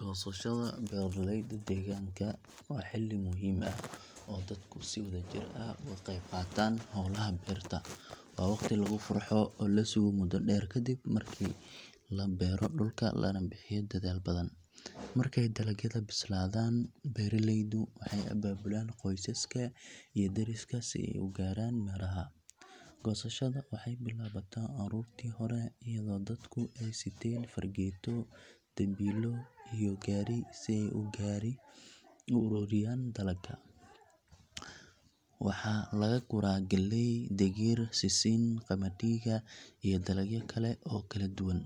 Goosashada beeralayda deegaanka waa xilli muhiim ah oo dadku ay si wadajir ah uga qayb qaataan hawlaha beerta. Waa waqti lagu farxo oo la sugo muddo dheer kadib markii la beero dhulka lana bixiyo dadaal badan. Markay dalagyada bislaadaan beeraleydu waxay abaabulaan qoysaska iyo deriska si ay u guraan miraha. Goosashada waxay bilaabataa aroortii hore iyadoo dadku ay siteen fargeeto, dambiilo iyo gaari si ay u ururiyaan dalagga. Waxaa laga guraa galley, digir, sisin, qamadiga iyo dalagyo kale oo kala duwan.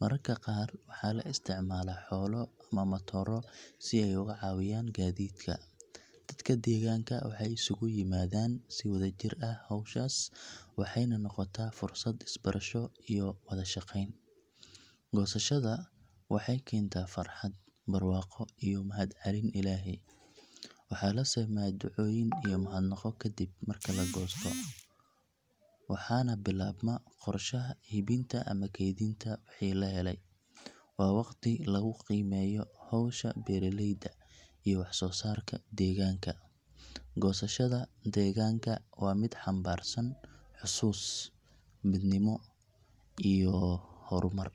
Mararka qaar waxaa la isticmaalaa xoolo ama matooro si ay uga caawiyaan gaadiidka. Dadka deegaanka waxay isugu yimaadaan si wadajir ah hawshaas waxayna noqotaa fursad is barasho iyo wada shaqayn. Goosashada waxay keentaa farxad, barwaaqo iyo mahadcelin Ilaahay. Waxaa la sameeyaa ducooyin iyo mahadnaqo kadib marka la goosto, waxaana bilaabma qorshaha iibinta ama kaydinta wixii la helay. Waa waqti lagu qiimeeyo hawsha beeraleyda iyo waxsoosaarka deegaanka. Goosashada deegaanka waa mid xambaarsan xusuus, midnimo iyo horumar.